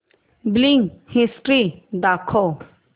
billing history दाखव